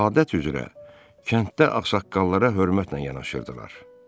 Adət üzrə kənddə ağsaqqallara hörmətlə yanaşırdılar.